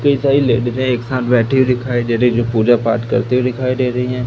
कई सारी लेडिसे एक साथ बैठी हुई दिखाई दे रही जो पूजा पाठ करती हुए दिखाई दे रही हैं।